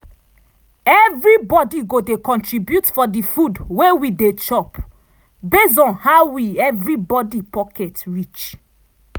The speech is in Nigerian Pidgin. every body go dey contribute for di food wey we dey chop base on how wi every body pocket reach.